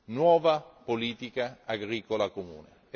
nuova politica agricola comune.